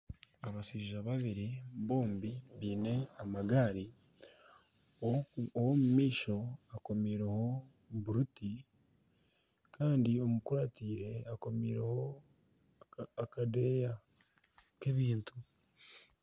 Abashaija babiri bombi baine amagaari. Ow'omu maisho akomiireho buruti kandi omukurateire akomiireho akadeeya k'ebintu.